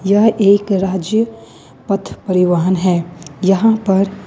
यह एक राज्य पथ परिवहन है यहां पर।